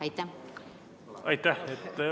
Aitäh!